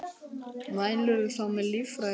Mælirðu þá með lífrænu fæði?